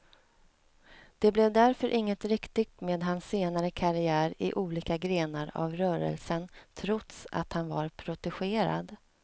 Det blev därför inget riktigt med hans senare karriär i olika grenar av rörelsen trots att han var protegerad.